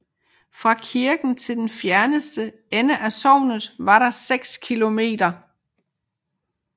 Fra kirken til den fjerneste ende af sognet var der 6 km